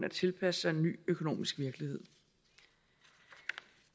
at tilpasse sig en ny økonomisk virkelighed